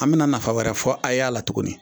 An bɛna nafa wɛrɛ fɔ a' y'a la tuguni